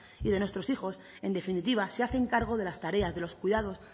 y de nuestros hijos en definitiva se hacen cargo de las tareas de los cuidados